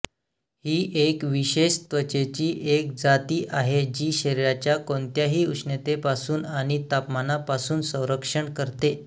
ही एक विशेष त्वचेची एक जाती आहे जी शरीराच्या कोणत्याही उष्णतेपासून आणि तापमानापासून संरक्षण करते